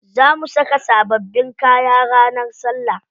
Za mu saka sababbin kaya ranar salla.